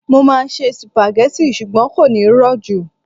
mo ma n se spaghetti, ṣugbọn kò ní ro ju